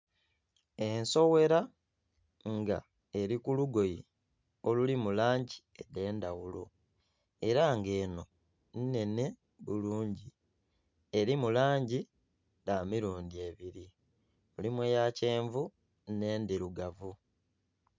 Ensowera nga eri kulugoye olulimu langi ede ndaghulo era nga eno inhenhe bulungi erimu langi dha mirundi ebiri, mulimu eya kyenvu ne ndirugavu